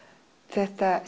þetta